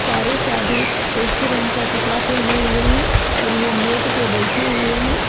सारे साधु एक ही रंग का कपड़ा पहने हुए हैं और ये मैट पर बैठे हुए हैं।